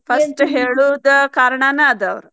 First ಹೇಳುದ್ ಕಾರಣಾನ ಆದ್.